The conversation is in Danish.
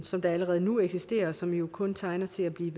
som allerede nu eksisterer og som jo kun tegner til at blive